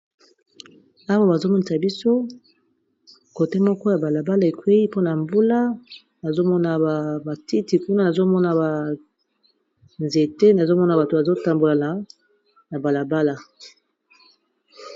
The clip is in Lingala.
awa bazomonisa biso kote moko ya balabala ekwei mpona mbula azomona ba matiti kuna nazomona banzete nazomona bato bazotambola na balabala